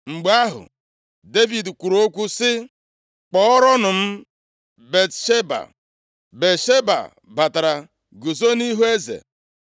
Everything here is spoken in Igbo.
Mgbe ahụ, Devid kwuru okwu sị, “Kpọọrọnụ m Batsheba.” Batsheba batara, guzo nʼihu eze.